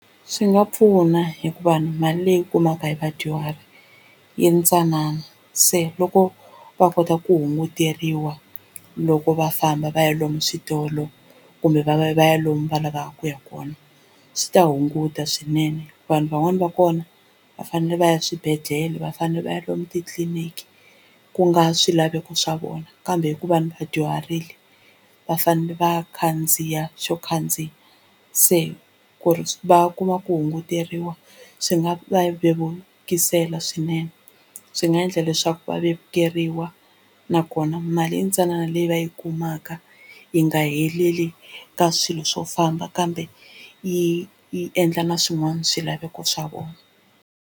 Swi nga pfuna hikuva ni mali leyi kumaka hi vadyuhari yintsanana se loko va kota ku hunguteriwa loko va famba va ya lomu switolo kumbe va va ya va ya lomu va lavaka ku ya kona swi ta hunguta swinene vanhu van'wani va kona va fanele va ya swibedhlele va fanele va ya lomu titliliniki ku nga swilaveko swa vona kambe hikuva ni va dyuharile va fanele va khandziya xo khandziya se ku ri va kuma ku hunguteriwa swi nga va vevukisela swinene swi nga endla leswaku va vevukeriwa nakona mali yintsanana leyi va yi kumaka yi nga heleli ka swilo swo famba kambe yi yi endla na swin'wana swilaveko swa vona.